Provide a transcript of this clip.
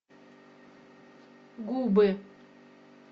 губы